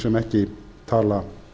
sem ekki tala